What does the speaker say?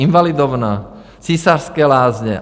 Invalidovna, Císařské lázně.